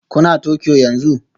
Kuna Tokyo yanzu?